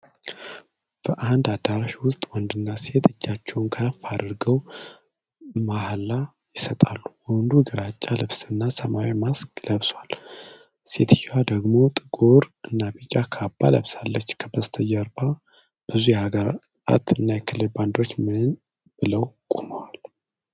በአንድ አዳራሽ ውስጥ ወንድና ሴት እጃቸውን ከፍ አድርገው ምል ይሰጣሉ። ወንዱ ግራጫ ልብስና ሰማያዊ ማስክ ለብሷል። ሴትየዋ ደግሞ ጥቁር እና ቢጫ ካባ ለብሳለች። ከበስተጀርባ ብዙ የሀገራት እና የክልል ባንዲራዎች ምን ብለው ቆመዋል?